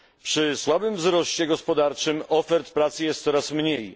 Przy słabym wzroście gospodarczym ofert pracy jest coraz mniej.